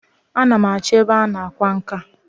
A na m achọ ebe a na-akwa nka.